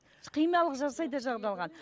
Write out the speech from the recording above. химиялық